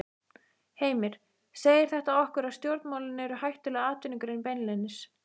Heimir: Segir þetta okkur að stjórnmálin eru hættuleg atvinnugrein beinlínis?